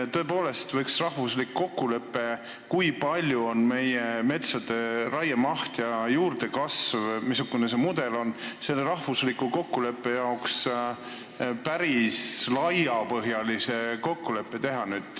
Tõepoolest võiks teha selle rahvusliku kokkuleppe jaoks, kui suur on meie metsade raiemaht ja juurdekasv ning missugune see mudel on, päris laiapõhjalise kokkuleppe.